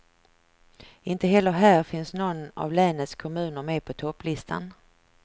Inte heller här finns någon av länets kommuner med på topplistan.